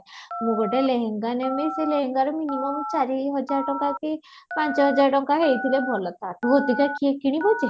ମୁଁ ଗୋଟେ ଲେହେଙ୍ଗା ନେବି ସେ ଲେହେଙ୍ଗା ର minimum ଚାରି ହଜାର ଟଙ୍କା କି ପାଞ୍ଚ ହଜାର ଟଙ୍କା ହେଈଥିଲେ ଭଲ ତା ପରେ ଏତେଟା କିଏ କିଣିବ ଯେ?